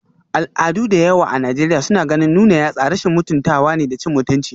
Al'adu da yawa a Najeriya suna ganin nuna yatsa rashin mutuntawa da cin mutunci